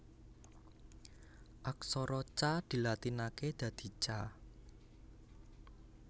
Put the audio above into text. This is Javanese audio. Aksara Ca dilatinaké dadi Ca